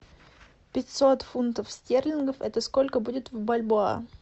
пятьсот фунтов стерлингов это сколько будет в бальбоа